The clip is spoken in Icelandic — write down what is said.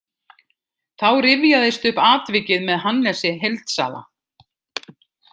Þá rifjaðist upp atvikið með Hannesi heildsala.